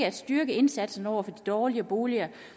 at styrke indsatsen over for de dårlige boliger